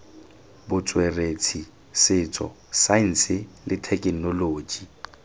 botsweretshi setso saense le thekenoloji